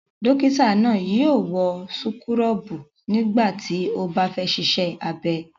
Dọ́kítá náà yóò wọ súkúrọ́bù nígbà tí ó bá fẹ́ ṣiṣẹ́ abẹ.